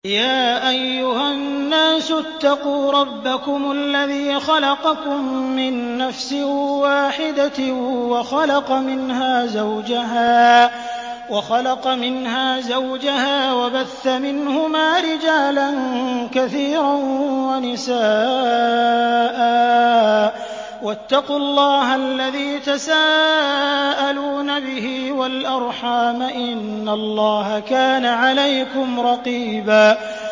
يَا أَيُّهَا النَّاسُ اتَّقُوا رَبَّكُمُ الَّذِي خَلَقَكُم مِّن نَّفْسٍ وَاحِدَةٍ وَخَلَقَ مِنْهَا زَوْجَهَا وَبَثَّ مِنْهُمَا رِجَالًا كَثِيرًا وَنِسَاءً ۚ وَاتَّقُوا اللَّهَ الَّذِي تَسَاءَلُونَ بِهِ وَالْأَرْحَامَ ۚ إِنَّ اللَّهَ كَانَ عَلَيْكُمْ رَقِيبًا